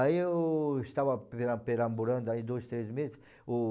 Aí eu estava peram perambulando aí dois, três meses. O